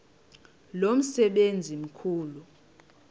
lo msebenzi mkhulu